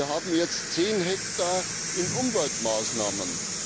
Wir haben jetzt 10 Hektar in Umweltmaßnahmen.